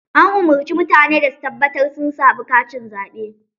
An umurci mutane da su tabbatar sun samu katin zaɓe.